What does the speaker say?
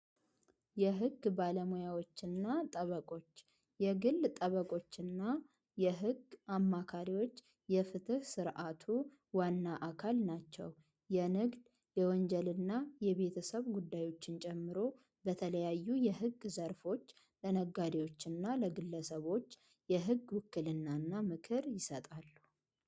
የሕግ ባለሙያዎችና ጠበቆች የግል ጠበቆችና የሕግ አማካሪዎች የፍትህ ሥርዓቱ ዋና አካል ናቸው። የንግድ የወንጀልና የቤተሰብ ጉዳዮችን ጀምሮ በተለያዩ የሕግ ዘርፎች ለነጋዴዎችና ለግለሰቦች የሕግ ውክልና እና ምክር ይሰጣሉ።